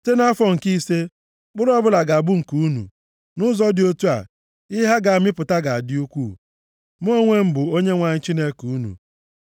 Site nʼafọ nke ise, mkpụrụ ọbụla ga-abụ nke unu. Nʼụzọ dị otu a ihe ha ga-amịpụta ga-adị ukwuu. Mụ onwe m bụ Onyenwe anyị Chineke unu.